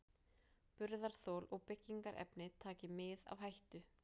Burðarþol og byggingarefni taki mið af hættu.